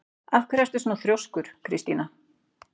Af hverju ertu svona þrjóskur, Kristína?